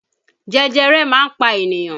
Jẹjẹrẹ máa ń pa ènìyàn